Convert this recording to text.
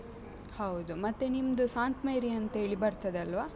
ಹೌದು. ಮತ್ತೆ ನಿಮ್ದು ಸಾಂತ್ ಮೇರಿ ಅಂತ್ ಹೇಳಿ ಬರ್ತದೆ ಅಲ್ವ?